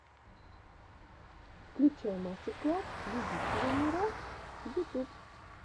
включай мастер класс любителямира ютуб